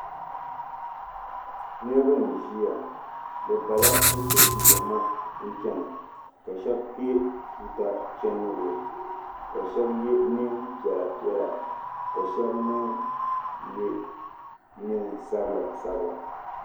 Niriba n ʒia bɛ bala cheche buɣima n chena ka sheba kpe tuuka chendigu ka sheba ye niɛnpiɛla piɛla ka sheba mee ye niɛn'sabla sabila.